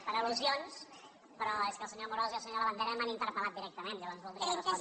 per al·lusions però és que el senyor amorós i el se·nyor labandera m’han interpel·lat directament lla·vors voldria respondre’ls